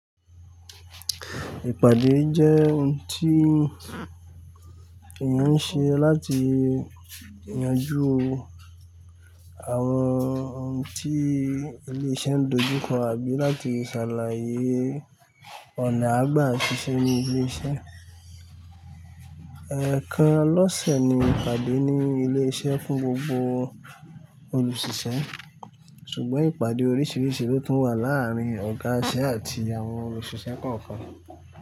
Ìpàdé jẹ́ ohun tí èèyàn ń ṣe láti yanjú àwọn ohun tí ilé iṣẹ́ ń dojú kọ àbí láti ṣàlàyé ọ̀nà àgbà ṣiṣẹ́ ní ilé iṣẹ́. Ẹ̀ẹ̀kan lọ́sẹ̀ ni ìpàdé ní ilé iṣẹ́ fún gbogbo olùṣiṣẹ́ ṣùgbọ́n ìpàdé oríṣiríṣi ló tún wà láàárín ọ̀gá iṣẹ́ àti àwọn olùṣiṣẹ́ kọ̀ọ̀kan.